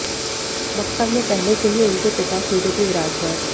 मकर में पहले से ही उनके पिता सूर्य भी विराजमान है